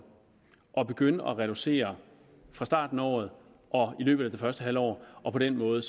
at begynde at reducere fra starten af året og i løbet af det første halve år og på den måde